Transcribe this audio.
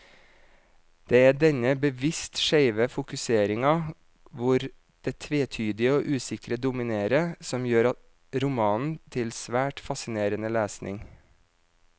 Det er denne bevisst skjeve fokuseringen, hvor det tvetydige og usikre dominerer, som gjør romanen til svært fascinerende lesning.